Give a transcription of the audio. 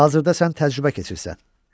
Hazırda sən təcrübə keçirsən.